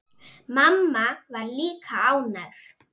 Mamma var líka ánægð.